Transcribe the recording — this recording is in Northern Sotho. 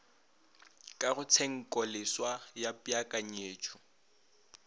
ka ga tshenkoleswa ya peakanyetšo